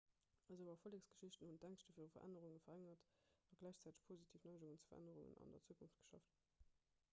esou erfollegsgeschichte hunn d'ängschte viru verännerung verréngert a gläichzäiteg positiv neigungen zu verännerungen an der zukunft geschaf